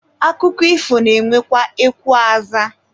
Akụkọ ifo na-enwekwa ekwe azaa.